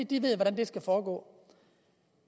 de ved hvordan det skal foregå